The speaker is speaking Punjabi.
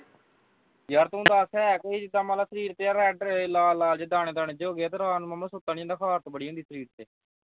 ਯਾਰ ਤੂੰ ਹੈ ਦੱਸ ਹੈ ਕੋਈ ਜਿੱਦਾਂ ਮੰਨ ਲਾ ਸਰੀਰ ਤੇ ਲਾਲ ਲਾਲ ਜੇ ਦਾਣੇ ਦਾਣੇ ਜੇ ਹੋਗੇ ਰਾਤ ਨੂੰ ਮਾਮਾ ਸੁੱਤਾ ਨੀ ਜਾਂਦਾ ਖਾਰਸ਼ ਬੜੀ ਹੁੰਦੀ ਸਰੀਰ ਤੇ